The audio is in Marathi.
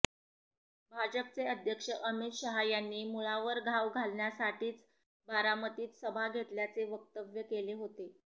भाजपचे अध्यक्ष अमित शहा यांनी मुळावर घाव घालण्यासाठीच बारामतीत सभा घेतल्याचे वक्तव्य केले होते